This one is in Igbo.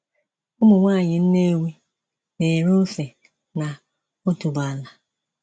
Ụmụ nwaanyị Nnewi na-ere ose na otuboala.